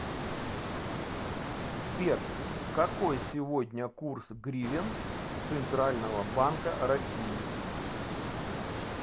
сбер какой сегодня курс гривен центрального банка россии